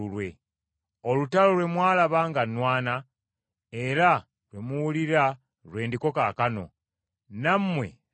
Olutalo lwe mwalaba nga nnwana, era lwe muwulira lwe ndiko kaakano, nammwe lwe muliko.